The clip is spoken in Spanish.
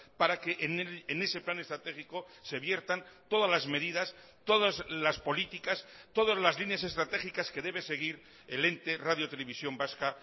para que en ese plan estratégico se viertan todas las medidas todas las políticas todas las líneas estratégicas que debe seguir el ente radio televisión vasca